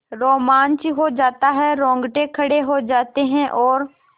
रोमांच हो आता है रोंगटे खड़े हो जाते हैं और